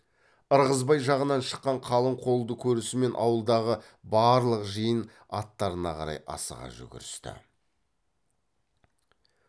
ырғызбай жағынан шыққан қалың қолды көрісімен ауылдағы барлық жиын аттарына қарай асыға жүгірісті